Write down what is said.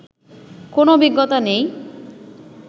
কোনো অভিজ্ঞতাই নেই